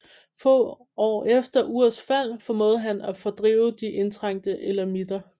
Få år efter Urs fald formåede han at fordrive de indtrængte elamitter